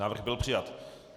Návrh byl přijat.